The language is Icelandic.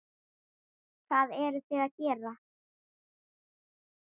Hvað eruði að gera?